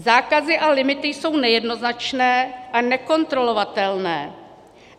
Zákazy a limity jsou nejednoznačné a nekontrolovatelné.